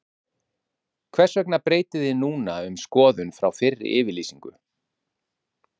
Heimir Már Pétursson: Hvers vegna breytið þið núna um skoðun frá fyrri yfirlýsingu?